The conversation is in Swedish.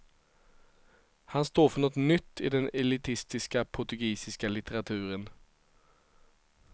Han står för något nytt i den elitistiska portugisiska litteraturen.